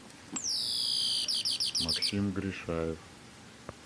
максим гришаев